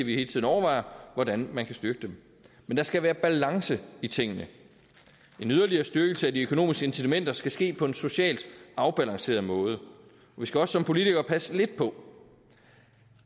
vi hele tiden overvejer hvordan man kan styrke dem men der skal være balance i tingene en yderligere styrkelse af de økonomiske incitamenter skal ske på en socialt afbalanceret måde vi skal også som politikere passe lidt på